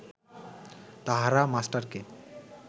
তাহারা মাস্টারকে